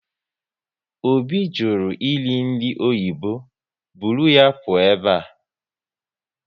Obi jụrụ eri nri oyibo, buru ya pụọ ebe a!